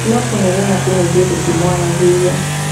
No kũnegena tu na ithuĩ tũtimwaragĩria